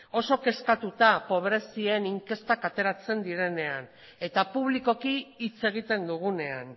oso kezkatuta pobrezien inkestak ateratzen direnean eta publikoki hitz egiten dugunean